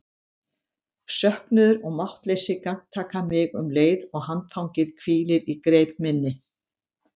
Söknuður og máttleysi gagntaka mig um leið og handfangið hvílir í greip minni.